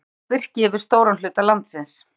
Þá breiddist birki yfir stóran hluta landsins.